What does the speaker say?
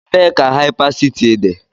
Ebee ka Hypercity dị?